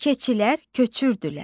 Keçilər köçürdülər.